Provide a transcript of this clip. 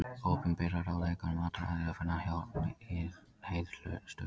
Opinberar ráðleggingar um mataræði er að finna hjá Lýðheilsustöð.